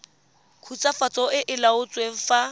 khutswafatso e e laotsweng fa